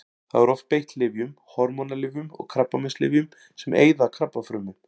Þá er oft beitt lyfjum: hormónalyfjum og krabbameinslyfjum sem eyða krabbafrumum.